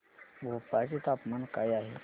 भोपाळ चे तापमान काय आहे